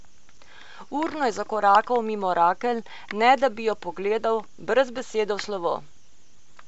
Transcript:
Urno je zakorakal mimo Rakel, ne da bi jo pogledal, brez besede v slovo.